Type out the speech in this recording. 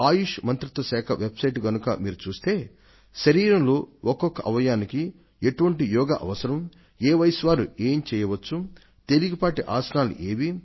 ఆయుష్ మంత్రిత్వ శాఖ website ను కనుక మీరు చూస్తే శరీరంలో ఒక్కొక్క అవయవానికి ఎటువంటి యోగా అవసరం ఏ వయస్సు వారు ఏం చేయవచ్చు తేలికపాటి ఆసనాలు ఏవి